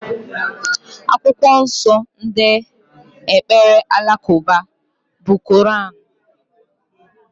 Akwụkwọ nsó ndị ekpere alakụba bụ Kọranú.